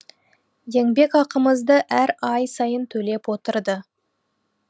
еңбек ақымызды әр ай сайын төлеп отырды